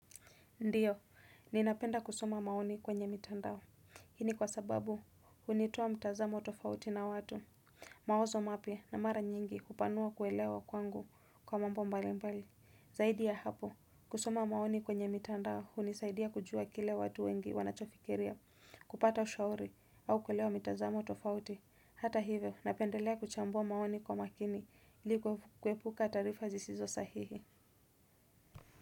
Ndiyo, ninapenda kusoma maoni kwenye mitandao, hii ni kwa sababu, hunitoa mtazamo tofauti na watu, mawazo mapya na mara nyingi kupanua kuelewa kwangu kwa mambo mbalimbali, zaidi ya hapo, kusoma maoni kwenye mitandao, hunisaidia kujua kile watu wengi wanacho fikiria kupata ushauri au kuelewa mtazamo tofauti, hata hivyo, napendelea kuchambua maoni kwa makini ili kuepuka taraifa zisizo sahihi.